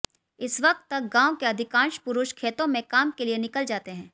इस वक़्त तक गांव के अधिकांश पुरुष खेतों में काम के लिए निकल जाते हैं